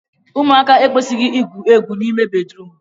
ụmụaka ekwesịghị igwu egwu n'ime bedrum